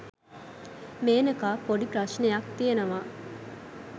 මේනකා පොඩි ප්‍රශ්නයක්‌ තියෙනවා